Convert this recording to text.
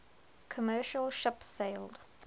commercial ship sailed